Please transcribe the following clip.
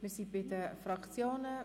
Wir sind bei den Fraktionen.